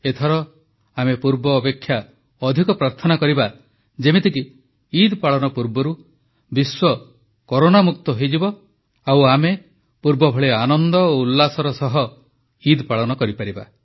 ଏଥର ଆମେ ପୂର୍ବାପେକ୍ଷା ଅଧିକ ପ୍ରାର୍ଥନା କରିବା ଯେମିତିକି ଇଦ୍ ପାଳନ ପୂର୍ବରୁ ବିଶ୍ୱ କରୋନା ମୁକ୍ତ ହୋଇଯିବ ଆଉ ଆମେ ପୂର୍ବ ଭଳି ଆନନ୍ଦ ଓ ଉଲ୍ଲାସର ସହ ଇଦ୍ ପାଳନ କରିପାରିବା